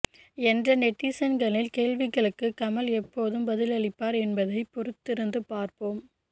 என்ற நெட்டிசன்களின் கேள்விகளுக்கு கமல் எப்போது பதிலளிப்பார் என்பதை பொறுத்திருந்து பார்ப்போம்